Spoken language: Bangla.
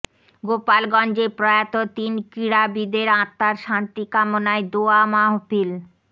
গোপালগঞ্জে প্রয়াত তিন ক্রীড়াবিদের আত্মার শান্তি কামনায় দোয়া মাহফিল